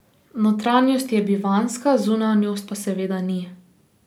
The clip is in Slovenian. Notranjost je bivanjska, zunanjost pa seveda ni.